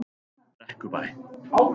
Brekkubæ